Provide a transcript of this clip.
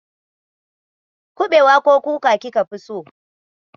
Kuɓewa ko kuka kika fi so?